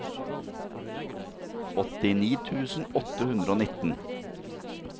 åttini tusen åtte hundre og nitten